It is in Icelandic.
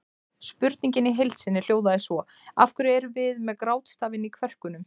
Spurningin í heild sinni hljóðaði svo: Af hverju erum við með grátstafinn í kverkunum?